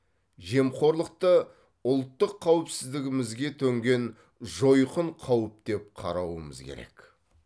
жемқорлықты ұлттық қауіпсіздігімізге төнген жойқын қауіп деп қарауымыз керек